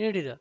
ನೀಡಿದ